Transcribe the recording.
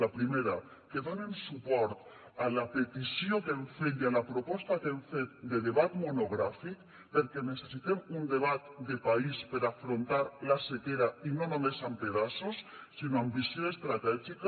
la primera que donen suport a la petició que hem fet i a la proposta que hem fet de debat monogràfic perquè necessitem un debat de país per afrontar la sequera i no només amb pedaços sinó amb visió estratègica